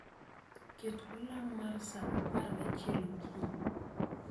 Ket olang' mar sa apar gachiel okinyi